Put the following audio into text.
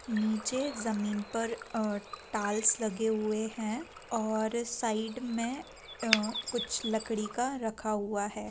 निचे ज़मीन पर अ टाइल्स लगे हुए हैं और साइड में अ कुछ लकड़ी का रखा हुआ है।